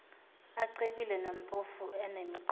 acebile nampofu anemiqondo